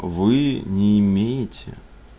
вы не имеете